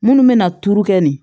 Munnu be na turu kɛ nin